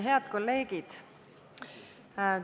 Head kolleegid!